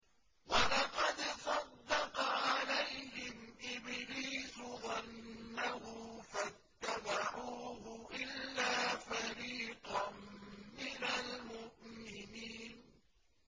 وَلَقَدْ صَدَّقَ عَلَيْهِمْ إِبْلِيسُ ظَنَّهُ فَاتَّبَعُوهُ إِلَّا فَرِيقًا مِّنَ الْمُؤْمِنِينَ